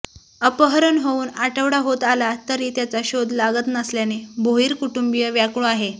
अपहरण होऊन आठवडा होत आला तरी त्याचा शोध लागत नसल्याने भोईर कुटुंबीय व्याकूळ आहे